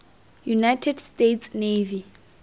united states navy